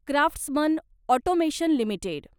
craftsman automation limited